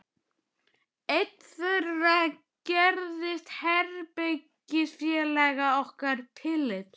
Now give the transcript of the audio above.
Einn þeirra gerðist herbergisfélagi okkar Philips.